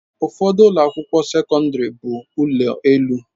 Ụfọdụ ụlọ akwụkwọ bụ ụlọ elu